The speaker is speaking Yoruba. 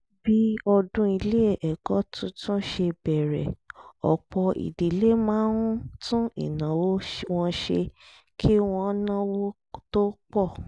bí ọdún ilé ẹ̀kọ́ tuntun ṣe bẹ̀rẹ̀ ọ̀pọ̀ ìdílé máa ń tún ìnáwó wọn ṣe kí wọ́n náwó tó pọ̀